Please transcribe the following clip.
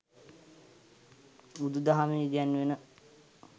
බුදුදහමේ ඉගැන්වෙන